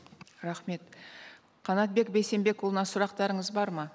рахмет қанатбек бейсенбекұлына сұрақтарыңыз бар ма